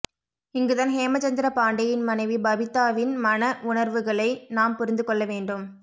இங்குதான் ஹேமச்சந்திர பாண்டேயின் மனைவி பாபிதாவின் மன உணர்வுகளை நாம் புரிந்து கொள்ள வேண்டும்